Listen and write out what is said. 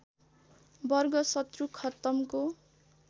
वर्ग शत्रु खत्तमको